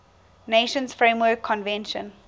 nations framework convention